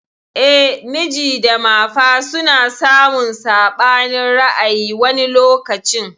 Eh, miji da mafa suna samun saɓanin ra'ayi wani lokacin.